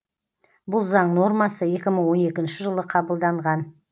бұл заң нормасы екі мың он екінші жылы қабылданған